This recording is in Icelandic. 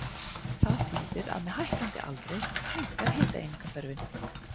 Það þýðir að með hækkandi aldri minnkar hitaeiningaþörfin.